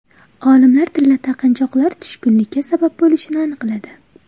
Olimlar tilla taqinchoqlar tushkunlikka sabab bo‘lishini aniqladi.